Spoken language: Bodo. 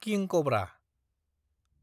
किं कब्रा